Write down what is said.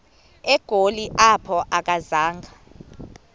egoli apho akazanga